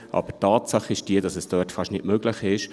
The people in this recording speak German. Aber Tatsache ist, dass es dort fast nicht möglich ist.